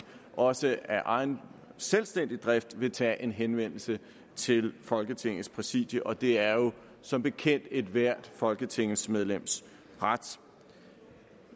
også af egen selvstændig drift vil tage en henvendelse til folketingets præsidium og det er jo som bekendt ethvert folketingsmedlems ret